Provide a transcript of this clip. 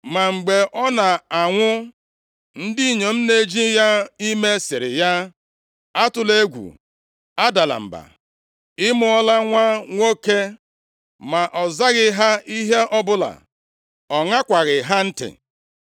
Ma mgbe ọ na-anwụ, ndị inyom na-eji ya ime, sịrị ya, “Atụla egwu, adala mba, ị mụọla nwa nwoke.” Ma ọ zaghị ha ihe ọbụla. Ọ ṅakwaghị ha ntị.